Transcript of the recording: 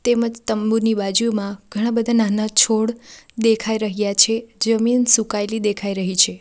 તેમજ તંબુની બાજુમાં ઘણા બધા નાના છોડ દેખાઈ રહ્યા છે જમીન સુકાયેલી દેખાઈ રહી છે.